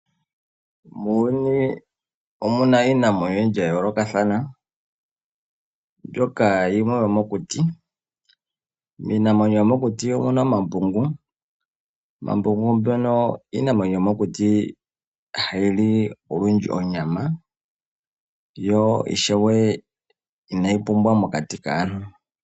Muuyuni omuna iinamwenyo oyindji ya yoolokothana mbyoka yimwe oyo mokuti. Iinamwenyo yomokuti omuna omambungu ngono ha gali onyama no inaga pumbwa mokati kaantu.